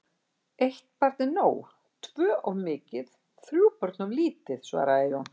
Eitt barn er nóg, tvö of mikið, þrjú börn of lítið, svaraði Jón.